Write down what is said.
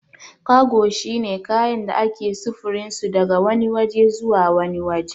Kago shine kayan da ake sufurinsu daga wani waje zuwa wani waje